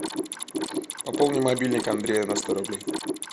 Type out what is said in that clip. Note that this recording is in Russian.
пополни мобильник андрея на сто рублей